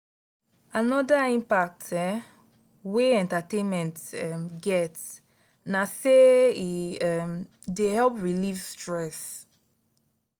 another impact um wey entertainment um get na say e um dey help relieve stress.